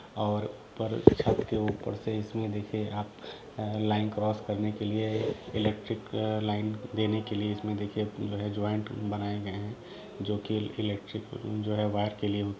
और ऊपर छत के ऊपर से इसमें देखिए आप लाइन क्रॉस करने के लिए इलेक्ट्रिक लाइन देने के लिए इसमें देखिए जो है जॉइंट बनाए गए हैं जो की इलेक्ट्रिक जो है वायर के लिए--